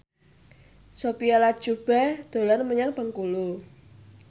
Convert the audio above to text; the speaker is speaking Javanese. Sophia Latjuba dolan menyang Bengkulu